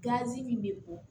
Gazi min bɛ bɔ